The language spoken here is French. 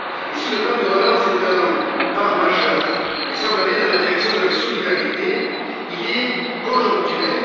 Si le plan de relance est un pas majeur et semble aller dans la direction de la solidarité, il est conjoncturel.